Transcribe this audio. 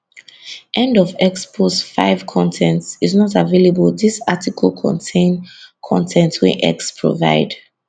end of x post 5 con ten t is not available dis article contain con ten t wey x provide